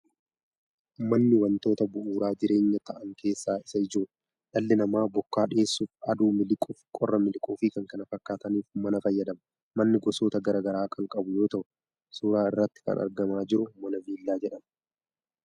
Manni wantoota bu'uura jireenyaa ta'an keessaa isa ijoodha. Dhalli namaa bokkaa dheessuuf, aduu miliquuf, qorra miliquuf fi kan kana fakkaataniif mana fayyadama. Manni gosoota gara garaa kan qabu yoo ta’u suuraa irratti kan argamaa jiru mana Viillaa jedhama.